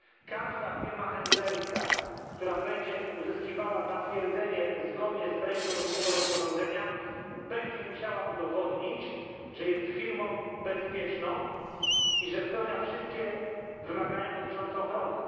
Każda firma handlingowa, która będzie uzyskiwała zatwierdzenie zgodnie z treścią tego rozporządzenia, będzie musiała udowodnić, że jest firmą bezpieczną i że spełnia wszystkie wymagania dotyczące ochrony.